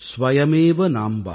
ஸ்வயமேவ நாம்ப